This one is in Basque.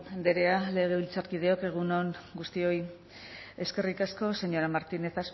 andrea legebiltzarkideok egun on guztioi eskerrik asko señora martinez